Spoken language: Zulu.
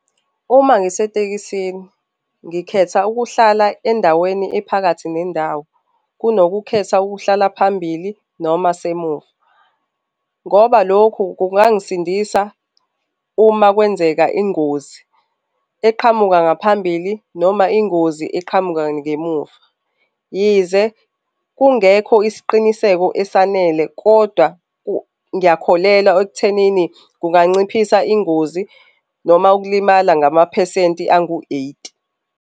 Uma ngisetekisini ngikhetha ukuhlala endaweni ephakathi nendawo kunokukhetha ukuhlala phambili noma semuva, ngoba lokhu kungangisindisa uma kwenzeka ingozi eqhamuka ngaphambili noma ingozi eqhamuka ngemuva. Yize kungekho isiqiniseko esanele kodwa ngiyakholelwa ekuthenini kunganciphisa ingozi noma ukulimala ngamaphesenti angu-eighty.